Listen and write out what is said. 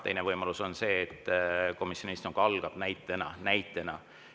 Teine võimalus on see, et komisjoni istung algab näitena – näitena!